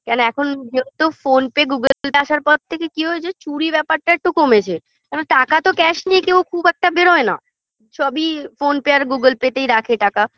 কেন এখন যেহেতু phone pay google pay আসার পর থেকে কি হয়েছে চুরি ব্যাপারটা একটু কমেছে কেন টাকা তো cash নিয়ে কেউ খুব একটা বেরোয় না সবই phone pay আর google pay -তেই রাখে টাকা